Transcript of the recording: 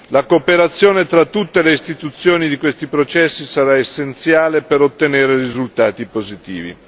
La cooperazione tra tutte le istituzioni di questi processi sarà essenziale per ottenere risultati positivi.